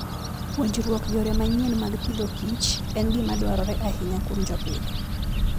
Puonjruok yore manyien mag Agriculture and Fooden gima dwarore ahinya kuom jopith.